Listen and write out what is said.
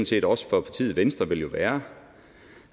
set også for partiet venstre jo vil være